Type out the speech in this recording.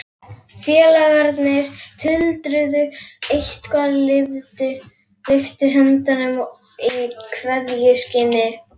Félagarnir tuldruðu eitthvað og lyftu höndum í kveðjuskyni.